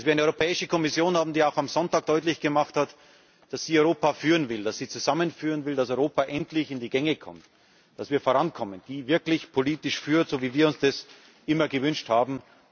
Dass wir eine Europäische Kommission haben, die auch am Sonntag deutlich gemacht hat, dass sie Europa führen will, dass sie zusammenführen will, damit Europa endlich in die Gänge kommt, damit wir vorankommen. Eine Kommission, die wirklich politisch führt, so wie wir uns das immer gewünscht haben.